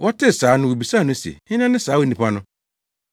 Wɔtee saa no wobisaa no se, “Hena ne saa onipa no?”